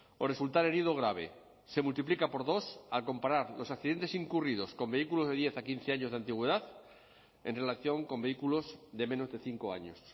o resultar herido grave se multiplica por dos al comparar los accidentes incurridos con vehículos de diez a quince años de antigüedad en relación con vehículos de menos de cinco años